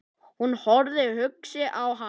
Hún horfði hugsi á hann.